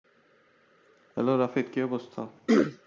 Hello Rafiq, কি অবস্থা?